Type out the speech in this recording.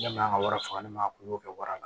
Ne ma wari faga ne ma kulo kɛ wara la